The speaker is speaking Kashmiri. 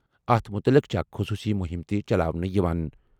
اَتھ مُتعلِق چھےٚ اَکھ خصوٗصی مُہِم تہِ چلاونہٕ یِوان۔